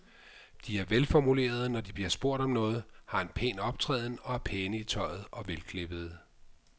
De er velformulerede, når de bliver spurgt om noget, har en pæn optræden og er pæne i tøjet og velklippede.